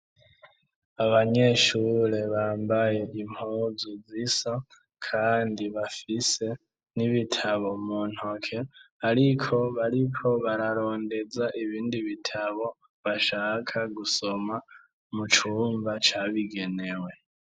Abanyeshure bambaye impuzu zisa kandi bafise n'ibitabo mu ntoke ariko bariko bararondeza ibindi bitabo bashaka gusoma mu cumba cabigenewe.